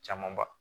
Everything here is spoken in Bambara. Camanba